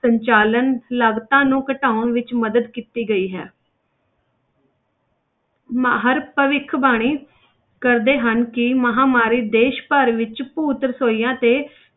ਸੰਚਾਲਨ ਲਾਗਤਾਂ ਨੂੰ ਘਟਾਉਣ ਵਿੱਚ ਮਦਦ ਕੀਤੀ ਗਈ ਹੈ ਮਾਹਰ ਭਵਿੱਖਬਾਣੀ ਕਰਦੇ ਹਨ ਕਿ ਮਹਾਂਮਾਰੀ ਦੇਸ ਭਰ ਵਿੱਚ ਭੂਤ ਰਸੋਈਆਂ ਤੇ,